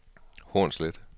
Hornslet